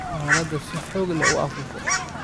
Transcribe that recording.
dhalada si xoog leh u afuufo